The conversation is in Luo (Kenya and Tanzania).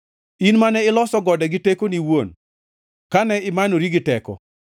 in mane iloso gode gi tekoni iwuon kane imanori gi teko,